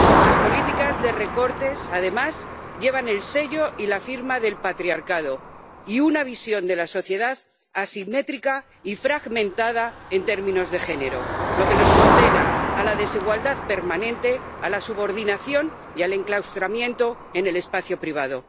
Las políticas de recortes, además, llevan el sello y la firma del patriarcado y una visión de la sociedad asimétrica y fragmentada en términos de género, lo que nos condena a la desigualdad permanente, a la subordinación y al enclaustramiento en el espacio privado.